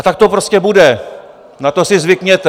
A tak to prostě bude, na to si zvykněte.